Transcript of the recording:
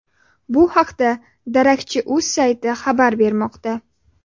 Bu haqda darakchi.uz sayti xabar bermoqda.